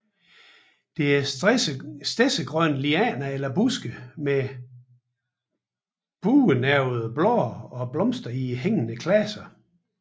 Det er stedsegrønne lianer eller buske med buenervede blade og blomster i hængende klaser